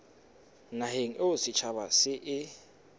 naheng eo setjhaba se e